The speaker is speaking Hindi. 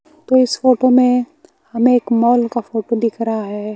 तो इस फोटो में हमें एक मॉल का फोटो दिख रहा है।